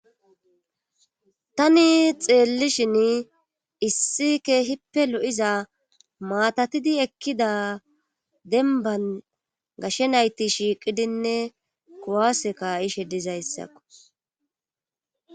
Tani xeellishin issi ke hippe lo7iza maatatidi ekkida denban gashshe nayti shiiqidinne kuwaaseka ishe dizayssakko.